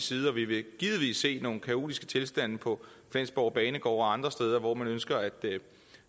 side vi vil givetvis se nogle kaotiske tilstande på flensborg banegård og andre steder hvor man ønsker at